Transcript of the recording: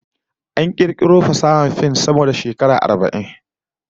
An kirkiro fasahar fim sama da shekara saba'in